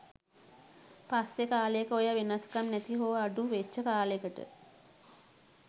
පස්සෙ කාලෙක ඔය වෙනස්කම් නැති හෝ අඩු වෙච්ච කාලෙකට